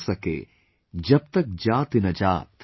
जब तक जाति न जात"